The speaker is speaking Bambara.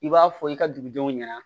I b'a fɔ i ka dugudenw ɲɛna